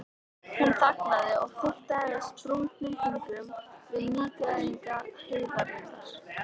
Hún þagnaði og fiktaði með sprungnum fingrum við nýgræðing heiðarinnar.